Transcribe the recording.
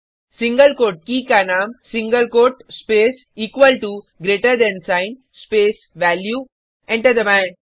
single quote के का नाम single quote space equal to greater than sign space value enter दबाएँ